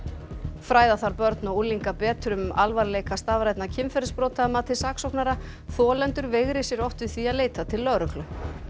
fræða þarf börn og unglinga betur um alvarleika stafrænna kynferðisbrota að mati saksóknara þolendur veigri sér oft við því að leita til lögreglu